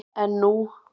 En nú?